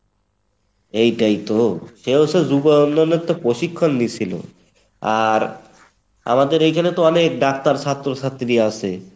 এটাই তো, সে হচ্ছে যুব উন্নয়ের থেকে প্রশিক্ষণ নিছিলো আর আমাদের এখানে তো অনেক ডাক্তার ছাত্র ছাত্রী আছে